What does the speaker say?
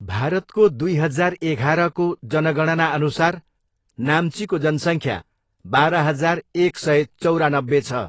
भारतको दुई हजार एघारको जनगणनाअनुसार, नाम्चीको जनसङ्ख्या बाह्र हजार एक सय चौरानब्बे छ।